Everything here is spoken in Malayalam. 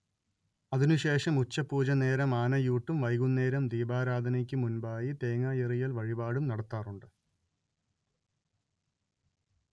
അതിനുശേഷം ഉച്ചപൂജനേരം ആനയൂട്ടും വൈകുന്നേരം ദീപാരാധനക്കുമുൻപായി തേങ്ങായെറിയല്‍ വഴിപാടും നടത്താറുണ്ട്